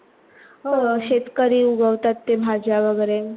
हो शेतकरी उगवतात ते भाज्या वगैरे